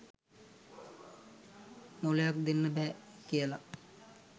මොලයක් දෙන්න බෑ කියල.